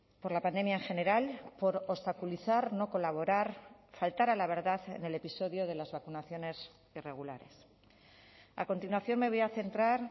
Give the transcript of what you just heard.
por la pandemia en general por obstaculizar no colaborar faltar a la verdad en el episodio de las vacunaciones irregulares a continuación me voy a centrar